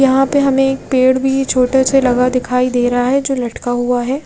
यहाँ पे हमे एक पेड़ भी छोटेसे लगा दिखाई दे रहा है जो लटका हुआ है।